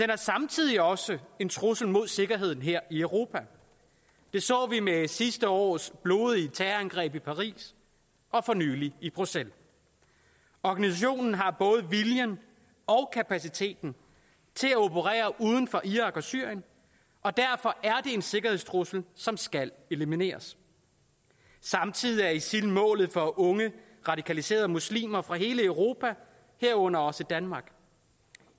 er samtidig også en trussel imod sikkerheden her i europa det så vi med sidste års blodige terrorangreb i paris og for nylig i bruxelles organisationen har både viljen og kapaciteten til at operere uden for irak og syrien og derfor er en sikkerhedstrussel som skal elimineres samtidig er isil målet for unge radikaliserede muslimer fra hele europa herunder også danmark